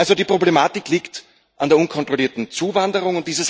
Also die Problematik liegt an der unkontrollierten Zuwanderung.